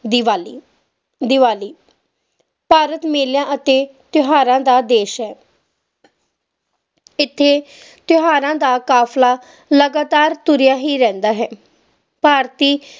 ਦੀਵਾਲੀ ਦੀਵਾਲੀ ਭਾਰਤ ਮੇਲਿਆਂ ਅਤੇ ਤਿਓਹਾਰਾਂ ਦਾ ਦੇਸ਼ ਹੈ ਤੇ ਤਿਓਹਾਰਾਂ ਦਾ ਕਾਫਲਾ ਲਗਾਤਾਰ ਤੁਰ੍ਯ ਹੀ ਰਹਿੰਦਾ ਏ ਭਾਰਤੀ